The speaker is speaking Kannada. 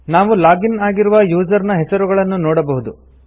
ನಾವು ಲಾಗ್ ಇನ್ ಆಗಿರುವ ಯುಸರ್ ನ ಹೆಸರುಗಳನ್ನು ನೋಡಬಹುದು